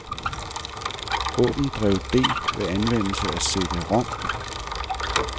Åbn drev D ved anvendelse af cd-rom.